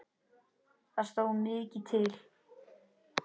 Það stóð mikið til.